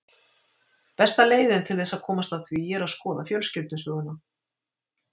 Besta leiðin til þess að komast að því er að skoða fjölskyldusöguna.